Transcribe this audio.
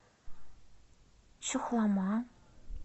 чухлома